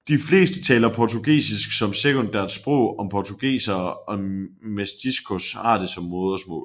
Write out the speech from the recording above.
De fleste taler portugisisk som sekundært sprog og portugisere og mestiços har det som modersmål